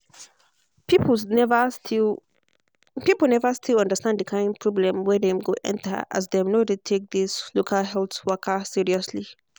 people never still people never still understand the kind problem wey dem go enter as dem no de take this local health waka seriously